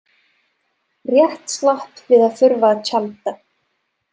Rétt slapp við að þurfa að tjalda.